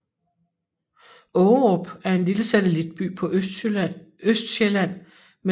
Ågerup er en lille satellitby på Østsjælland med